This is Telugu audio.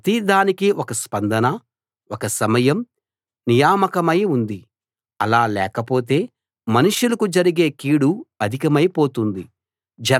ప్రతి దానికీ ఒక స్పందన ఒక సమయం నియామకమై ఉంది అలా లేకపోతే మనుష్యులకు జరిగే కీడు అధికమైపోతుంది